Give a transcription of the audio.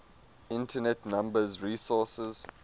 internet number resources